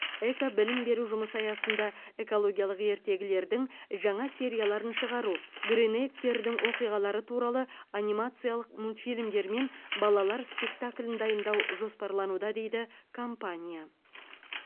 экобілім беру жұмысы аясында экологиялық ертегілердің жаңа серияларын шығару гринейктердің оқиғалары туралы анимациялық мультфильмдер мен балалар спектаклін дайындау жоспарлануда дейді компания